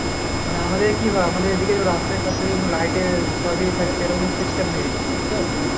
মানে আমাদের কি হয় আমাদের এইদিকে রাস্তায় ফাস্তায় যেমরকম light এর ছড়াছড়ি থাকে সেইরকম system নেই এইদিকে তাইতো